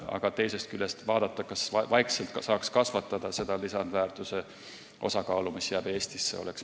Aga teisest küljest oleks mõistlik vaadata, kas saaks vaikselt kasvatada seda lisandväärtuse osakaalu, mis jääb Eestisse.